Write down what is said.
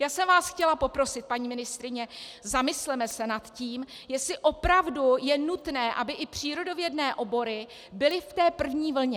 Já jsem vás chtěla poprosit, paní ministryně, zamysleme se nad tím, jestli opravdu je nutné, aby i přírodovědné obory byly v té první vlně.